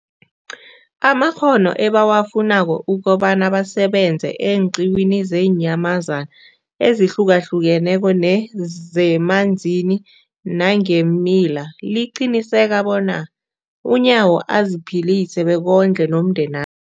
amakghono ebawafunako ukobana basebenze eenqiwini zeenyamazana ezihlukahlukeneko nezemanzini nangeemila, liqinisekisa bona uNyawo aziphilise bekondle nomndena